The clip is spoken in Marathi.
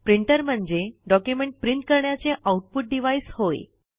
प्रिंटर म्हणजे डॉक्युमेंट प्रिंट करण्याचे आऊटपुट डिव्हाईस होय